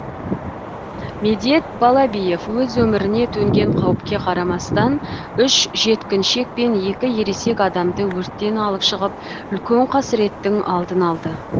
медет балабиев өз өміріне төнген қауіпке қарамастан үш жеткіншек пен екі ересек адамды өрттен алып шығып үлкен қасіреттің алдын алды